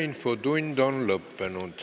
Infotund on lõppenud.